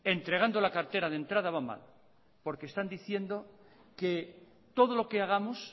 entregando la cartera de entrada va mal porque están diciendo que todo lo que hagamos